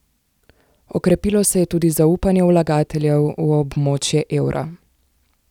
Okrepilo se je tudi zaupanje vlagateljev v območje evra.